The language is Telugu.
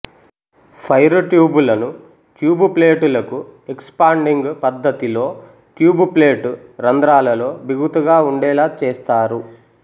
ఫైరు ట్యూబులను ట్యూబు ప్లేటులకు ఎక్సుపాండిగు పద్ధతిలో ట్యూబు ప్లేటు రంధ్రాలలో బిగుతుగా వుండేలా చేస్తారు